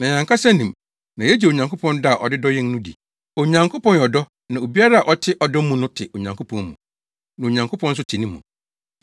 Na yɛn ankasa nim, na yegye Onyankopɔn dɔ a ɔde dɔ yɛn no di. Onyankopɔn yɛ ɔdɔ na obiara a ɔte ɔdɔ mu no te Onyankopɔn mu, na Onyankopɔn nso te ne mu.